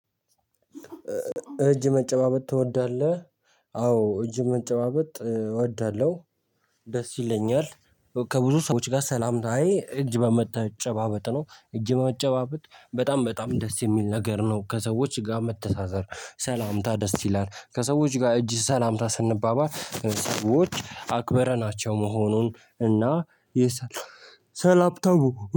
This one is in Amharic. እጅ መጨባበጥ ትወዳለህ? አዎ እጅ መጨባበጥ እወዳለሁ ደስ ይለኛል። ከብዙ ሰዎች ጋር ሰላምታዬ እጅ በመጨባበጥ ነው። እጅ በመጨባበጥ በጣም በጣም ደስ የሚል ነገር ነው። ከሰዎች ጋር መተሳሰር ሰላምታ ደስ ይላል። ከሰዎች ጋር እጅ ሰላምታ ስንባባል ሰዎች አክበረናቸው መሆኑን እና የሰላምታው